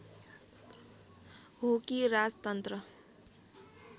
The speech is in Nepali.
हो कि राजतन्त्र